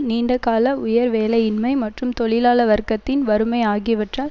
நீண்ட கால உயர் வேலையின்மை மற்றும் தொழிலாள வர்க்கத்தின் வறுமை ஆகியவற்றால்